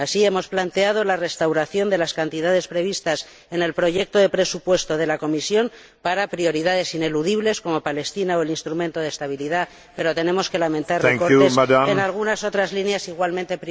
Así, hemos planteado el restablecimiento de las cantidades previstas en el proyecto de presupuesto de la Comisión para prioridades ineludibles como Palestina o el instrumento de estabilidad, pero tenemos que lamentar recortes en algunas otras líneas igualmente prioritarias para el Parlamento.